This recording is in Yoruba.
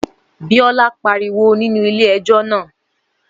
Bíọ́lá pariwo nínú ilé ẹjọ́ náà